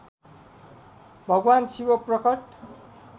भगवान् शिव प्रकट